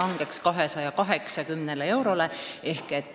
näitaja 2050. aastal 280 eurot.